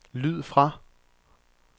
lyd fra